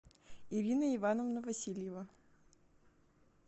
ирина ивановна васильева